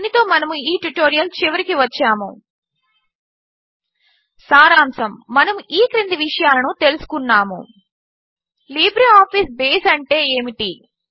దీనితో మనము ఈ ట్యుటోరియల్ చివరికి వచ్చాము ltవిరామముgt సారాంశము మనము ఈ క్రింది విషయాలను తెలుసుకున్నాము లిబ్రేఆఫీస్ బేస్ అంటే ఏమిటి